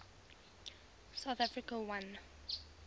south africa won